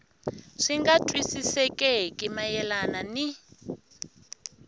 swi nga twisisekeki mayelana ni